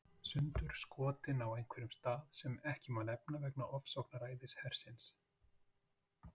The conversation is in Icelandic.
Sundurskotinn á einhverjum stað sem ekki má nefna vegna ofsóknaræðis hersins.